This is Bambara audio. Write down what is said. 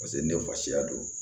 Paseke ne fa don